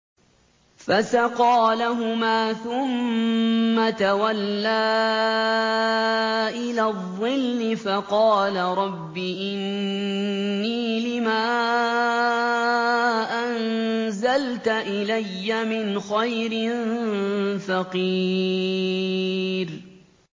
فَسَقَىٰ لَهُمَا ثُمَّ تَوَلَّىٰ إِلَى الظِّلِّ فَقَالَ رَبِّ إِنِّي لِمَا أَنزَلْتَ إِلَيَّ مِنْ خَيْرٍ فَقِيرٌ